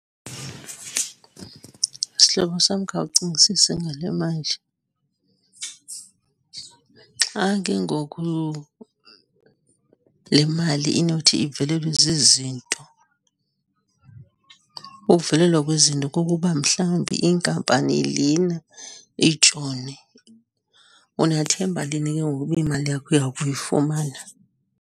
Sihlobo sam, khawucingisise ngale manje. Xa kengoku le mali inothi ivelelwe zizinto, ukuvelelwa kwezinto kukuba mhlawumbi inkampani lena itshone, unathemba lini kengoku uba imali yakho uya kuyifumana?